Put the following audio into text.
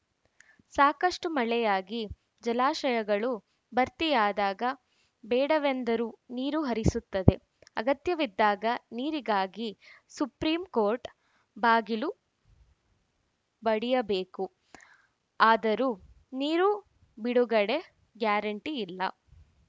ಸಾಕಷ್ಟುಮಳೆಯಾಗಿ ಜಲಾಶಯಗಳು ಭರ್ತಿಯಾದಾಗ ಬೇಡವೆಂದರೂ ನೀರು ಹರಿಸುತ್ತದೆ ಅಗತ್ಯವಿದ್ದಾಗ ನೀರಿಗಾಗಿ ಸುಪ್ರೀಂಕೋರ್ಟ್‌ ಬಾಗಿಲು ಬಡಿಯಬೇಕು ಆದರೂ ನೀರು ಬಿಡುಗಡೆ ಗ್ಯಾರಂಟಿ ಇಲ್ಲ